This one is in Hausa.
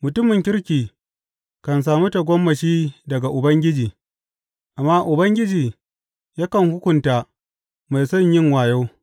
Mutumin kirki kan sami tagomashi daga Ubangiji, amma Ubangiji yakan hukunta mai son yin wayo.